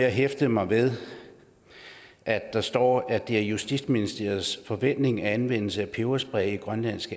at hæfte mig ved at der står at det er justitsministeriets forventning at anvendelse af peberspray i grønlands